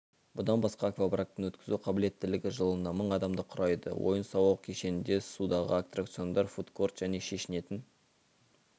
бұдан басқа аквапарктің өткізу қабілеттілігі жылына мың адамды құрайды ойын-сауық кешенінде судағы аттракциондар фудкорт және шешінетін